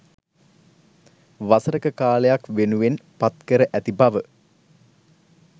වසරක කාලයක්‌ වෙනුවෙන් පත්කර ඇති බව